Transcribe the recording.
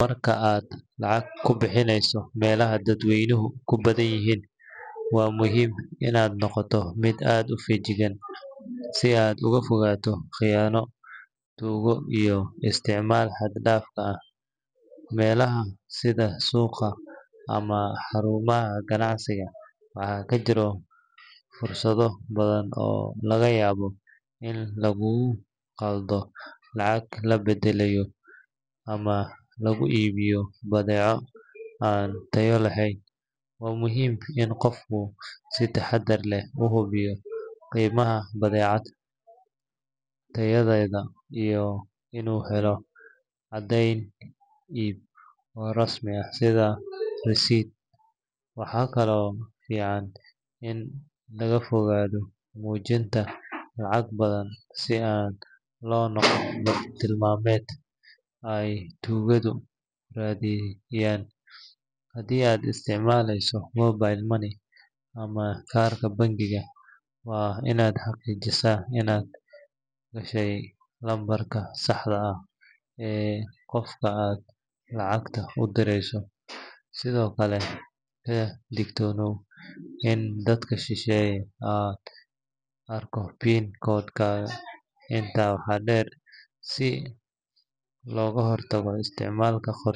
Marka aad lacag ku bixinayso meelaha dadweynuhu ku badan yihiin waa muhiim inaad noqoto mid aad u feejigan si aad uga fogaato khiyaano, tuugo iyo isticmaal xad-dhaaf ah. Meelaha sida suuqa ama xarumaha ganacsiga waxaa ka jira fursado badan oo laga yaabo in lagugu qaldo lacagta la beddelayo ama laguu iibiyo badeeco aan tayo lahayn. Waa muhiim in qofku si taxadar leh u hubiyo qiimaha badeecada, tayadeeda iyo inuu helo caddayn iib oo rasmi ah sida receipt. Waxaa kaloo fiican in laga fogaado muujinta lacag badan si aan loo noqon bartilmaameed ay tuugadu raadiyaan. Haddii aad isticmaaleyso mobile money ama kaarka bangiga, waa inaad xaqiijisaa inaad gashay lambarka saxda ah ee qofka aad lacagta u dirayso, sidoo kale ka digtoonow in dad shisheeye ay arkaan PIN code-kaaga. Intaa waxaa dheer, si looga hortago isticmaal.